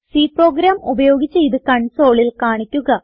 C program ഉപയോഗിച്ച് ഇത് കൺസോളിൽ കാണിക്കുക